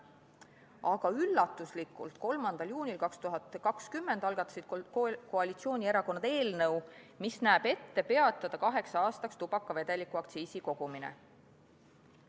Aga üllatuslikult, 3. juunil 2020 algatasid koalitsioonierakonnad eelnõu, mis näeb ette peatada kaheks aastaks tubakavedeliku aktsiisi kogumine.